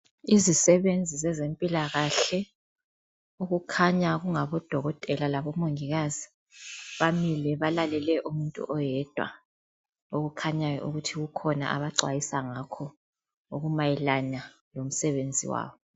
Izisebenzi zezempilakahle okukhanya kungabodokotela labomongikazi, bamile balalele umuntu oyedwa okukhanyayo ukuthi kukhona abacwayisa ngakho okumayelana lomsebenzi wabo.